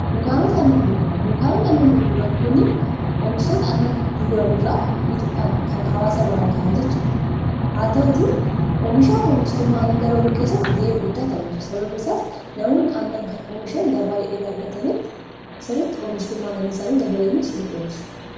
dunkaanota annan gurguran dunkaanooni annan guguran kunnn oomishtota anna gurguraniraa bituudhaan kan hawaasa biraan ga'an jechuudha haa ta'uti oomishaa oomishtummaa anna dabaluu keessatti ga'ee guddaa taphatu sababiisaas namoonni oomishan gabaa gaargatanitti siritti oomishtummaa annaniisaanii dabalaniif siritti oomisha